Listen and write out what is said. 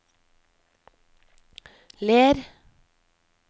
Ler